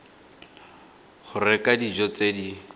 go reka dijo tse di